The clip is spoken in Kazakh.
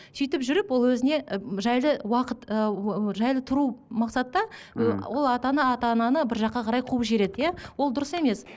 сөйтіп жүріп ол өзіне жайлы уақыт ы жайлы тұру мақсатта мхм ол ата ана ата ананы бір жаққа қарай қуып жібереді иә ол дұрыс емес